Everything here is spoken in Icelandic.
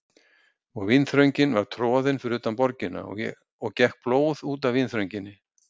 Og vínþröngin var troðin fyrir utan borgina og gekk blóð út af vínþrönginni.